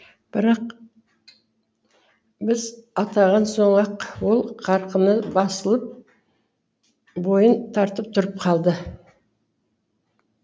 бірақ біз аттаған соң ақ ол қарқыны басылып бойын тартып тұрып қалды